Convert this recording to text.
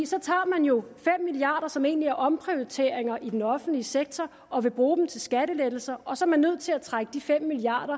så tager man jo fem milliard kr som egentlig er omprioriteringer i den offentlige sektor og vil bruge dem til skattelettelser og så er man nødt til at trække de fem milliard